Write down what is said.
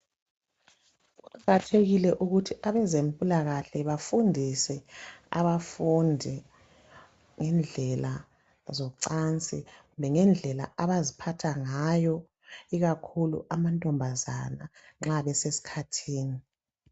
Kuqakathekile ukuthi abezempilakahle bafundise abafundi indlela zocansi lendlela abaziphatha ngayo ikakhulu amantombazana nxa besesikhathini.